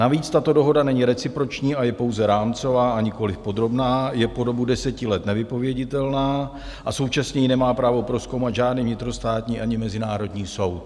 Navíc tato dohoda není reciproční a je pouze rámcová, a nikoliv podrobná, je po dobu deseti let nevypověditelná a současně ji nemá právo prozkoumat žádný vnitrostátní ani mezinárodní soud.